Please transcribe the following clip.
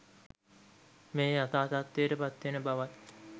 මෙය යථා තත්ත්වයට පත් වෙන බවත්